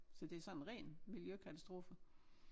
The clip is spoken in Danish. Så det sådan ren miljøkatastrofe